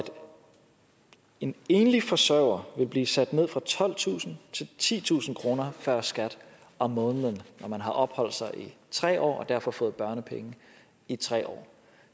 en enlig forsørger vil blive sat ned fra tolvtusind til titusind kroner før skat om måneden når man har opholdt sig her i tre år og derfor har fået børnepenge i tre år